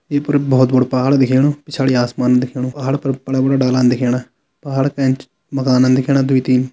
ई पर बोहोत बडु पहाड़ दिखेणु पिछाड़ी आसमान दिखेणु पहाड़ पर बड़ा बड़ा डालान दिखेणा पहाड़ का एंच मकानन दिखेणा द्वी-तीन।